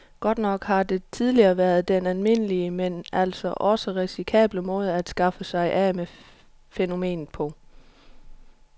Godt nok har det tidligere været den almindelige, men altså også risikable måde at skaffe sig af med fænomenet på.